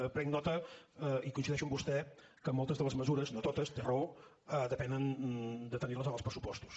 en prenc nota i coincideixo amb vostè que moltes de les mesures no totes té raó depenen de tenir les en els pressupostos